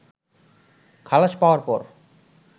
খালাস পাওয়ার পর